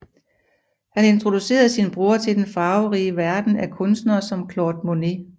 Han introducerede sin bror til den farverige verden af kunstnere som Claude Monet